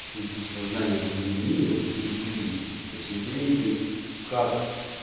в случае сознания пандемии вот это интересней то есть интересней как